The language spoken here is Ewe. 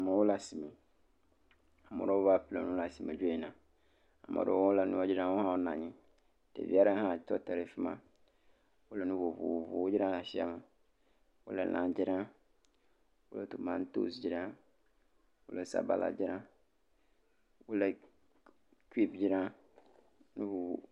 Amewo le asime. Ame aɖewo va ƒle nu le asime dzo yina. Ame aɖewo le nua dzram wo hã wonɔ anyi. Ɖevi aɖe ha le nu dzram wotɔte ɖe afi ma. Wole nu vovovowo dzram le asia me. Wole lã dzram, wo tomatosi dzram, wole sabala dzram kple cube dzram.